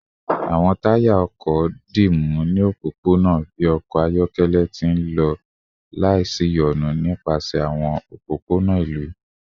Awọn taya ọkọ dimu ni opopona bi ọkọ ayọkẹlẹ ti nlọ laisiyonu nipasẹ awọn opopona ilu